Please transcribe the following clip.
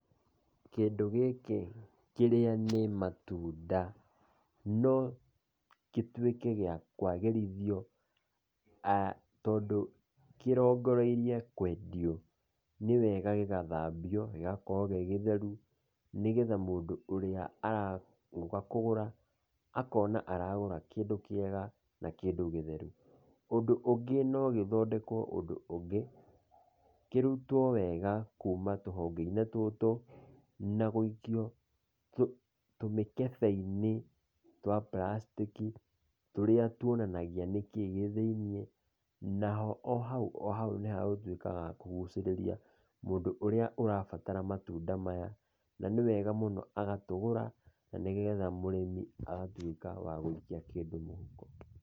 Kĩndũ gĩkĩ kĩrĩa nĩ matunda no gĩtuike gĩa kwagĩrithio tondũ kĩrogoreirio kwendio, nĩ wega gĩgathambio gĩgakorwo gĩgĩtheru nĩgetha mũndũ ũrĩa aroka kũgũra akona aragura kĩndũ kĩega na kĩndũ gĩtheru. Ũndũ ũngĩ no gĩthondekwo ũndũ ũngĩ, kĩrũtwo wega kũma tũhonge-inĩ tũtũ na gũikio tũmĩkehe-inĩ twa bulacitiki turia tuonanagia nĩ kĩi gĩthĩinĩ naho o haũ o haũ nĩhegũtuika ha kũgũcirĩrĩa mũndũ ũrĩa ũrabatara matunda maya na nĩ wega mũno agatũgũra na nĩgetha mũrĩmi agatuĩka wa gũikia kĩndũ mũhũko.